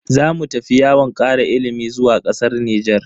Zamu tafi yawon kara ilimi zuwa kasar Nijar.